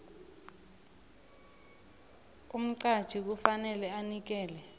umqatjhi kufanele anikele